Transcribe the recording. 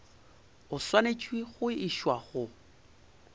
o swanetše go išwa go